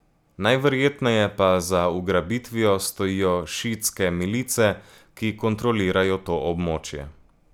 Najverjetneje pa za ugrabitvijo stojijo šiitske milice, ki kontrolirajo to območje.